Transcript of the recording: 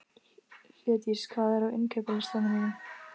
Hlédís, hvað er á innkaupalistanum mínum?